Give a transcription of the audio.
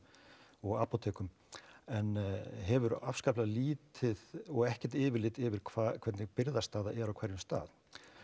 og apótekum en hefur afskaplega lítið og ekkert yfirlit yfir hvernig birgðastaða er á hverjum stað